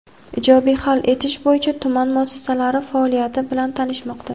ijobiy hal etish bo‘yicha tuman muassasalari faoliyati bilan tanishmoqda.